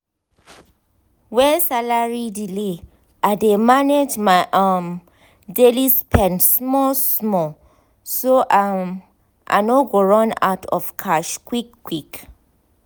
when salary delay i dey manage my um daily spend small-small so um i no go run out of cash quick quick